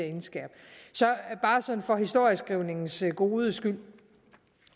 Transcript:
indskærpe så bare sådan for historieskrivningens gode skyld